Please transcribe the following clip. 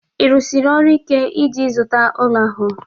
Ị rụsiri ọrụ ike iji ịzụta ụlọ ahụ?